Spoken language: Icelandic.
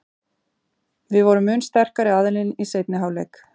Við vorum mun sterkari aðilinn í seinni hálfleik.